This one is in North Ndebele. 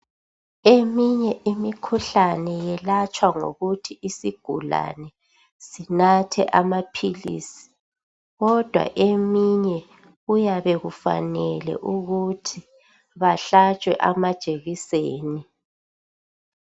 Eminye imikhuhlane yelatshwa ngokuthi isigulane sinathe amaphilisi kodwa eminye kuyabe kufanele ukuthi bahlatshwe amajekiseni